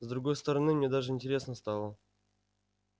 с другой стороны мне даже интересно стало